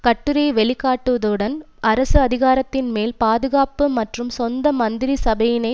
கட்டுரை வெளிக்காட்டுவதுடன் அரசு அதிகாரத்தின் மேல் பாதுகாப்பு மற்றும் சொந்த மந்திரிசபையினை